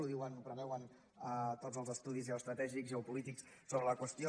ho diuen ho preveuen tots els estudis geoestratègics geopolítics sobre la qüestió